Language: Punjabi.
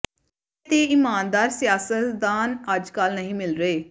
ਸੱਚੇ ਤੇ ਇਮਾਨਦਾਰ ਸਿਆਸਤਦਾਨ ਅੱਜ ਕੱਲ੍ਹ ਨਹੀਂ ਮਿਲ ਰਹੇ